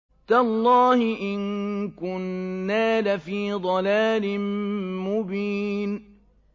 تَاللَّهِ إِن كُنَّا لَفِي ضَلَالٍ مُّبِينٍ